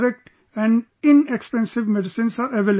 Correct and inexpensive medicines are available